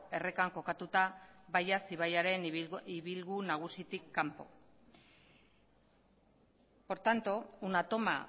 errekan kokatuta baias ibaiaren ibilgu nagusitik kanpo por tanto una toma